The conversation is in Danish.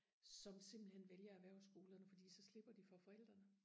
som simpelthen vælger erhvervsskolerne fordi så slipper de for forældrene